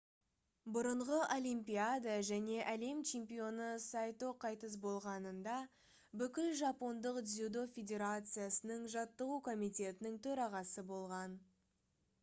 бұрынғы олимпиада және әлем чемпионы сайто қайтыс болғанында бүкіл жапондық дзюдо федерациясының жаттығу комитетінің төрағасы болған